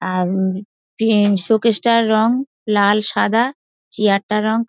আর showcase টার রং লাল সাদা চেয়ার টার রং--